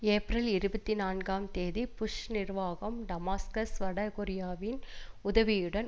April இருபத்தி நான்காம் தேதி புஷ் நிர்வாகம் டமாஸ்கஸ் வட கொரியாவின் உதவியுடன்